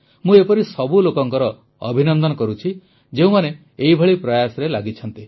ମୁଁ ଏପରି ସବୁ ଲୋକଙ୍କର ଅଭିନନ୍ଦନ କରୁଛି ଯେଉଁମାନେ ଏପରି ପ୍ରୟାସରେ ଲାଗିଛନ୍ତି